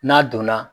N'a donna